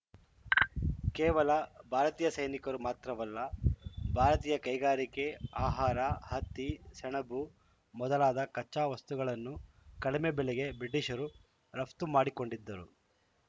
ಕೇವಲ ಭಾರತೀಯ ಸೈನಿಕರು ಮಾತ್ರವಲ್ಲ ಭಾರತೀಯ ಕೈಗಾರಿಕೆ ಆಹಾರ ಹತ್ತಿ ಸೆಣಬು ಮೊದಲಾದ ಕಚ್ಚಾ ವಸ್ತುಗಳನ್ನು ಕಡಿಮೆ ಬೆಲೆಗೆ ಬ್ರಿಟಿಷರು ರಫ್ತು ಮಾಡಿಕೊಂಡಿದ್ದರು